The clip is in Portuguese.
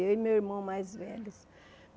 Eu e meu irmão mais velho.